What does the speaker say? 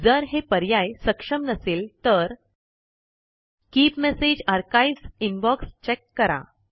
जर हे पर्याय सक्षम नसेल तर keep message archives inbox check करा